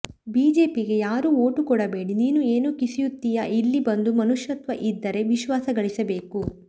ಬಿಜೆಪಿಗೆ ಯಾರು ಓಟು ಕೊಡಬೇಡಿ ನೀನು ಏನು ಕಿಸಿಯುತ್ತಿಯಾ ಇಲ್ಲಿ ಬಂದು ಮನುಷ್ಯತ್ವ ಇದ್ದರೆ ವಿಶ್ವಾಸ ಗಳಿಸಬೇಕು